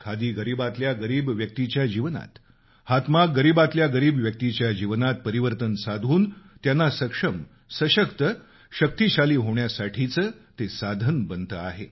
खादी गरीबातल्या गरीब व्यक्तीच्या जीवनात हातमाग गरीबातल्या गरीब व्यक्तीच्या जीवनात परिवर्तन साधून त्यांना सक्षम सशक्त शक्तिशाली होण्यासाठीचं ते साधन बनते आहे